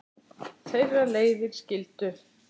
Þeirra leiðir skildu.